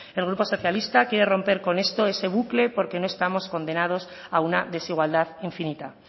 el grupo socialista quiere romper con esto ese bucle porque no estamos condenados a una desigualdad infinita